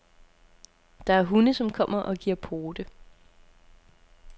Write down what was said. Der er hunde, som kommer og giver pote.